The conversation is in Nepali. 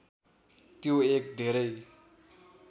त्यो एक धेरै